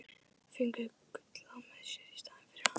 Fengu Gulla með sér í staðinn fyrir hann!